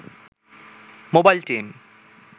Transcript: mobile team